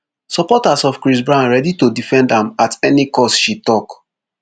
supporters of chris brown ready to defend am at any cost she tok